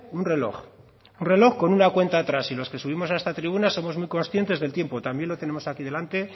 un reloj un reloj con una cuenta atrás y los que subimos a esta tribuna somos muy conscientes del tiempo también lo tenemos aquí delante